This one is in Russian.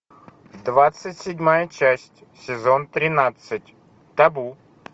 двадцать седьмая часть сезон тринадцать табу